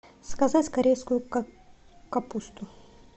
заказать корейскую капусту